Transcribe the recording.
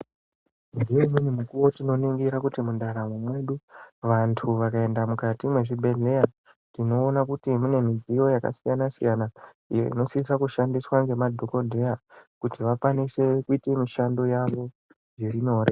Ngeimweni mikuwo tinoningira kuti mundaramo mwedu vantu vakaenda mukati mwezvibhehleya tinoona kuti mune midziyo yakasiyana-siyana iyo inokwanisa kushandiswa ngemadhokodheya kuti vakwanise kuita mishando yawo zviri nyore.